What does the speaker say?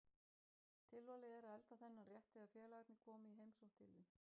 Tilvalið er að elda þennan rétt þegar félagarnir koma í heimsókn til þín.